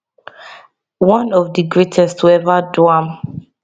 one of di greatest to ever do am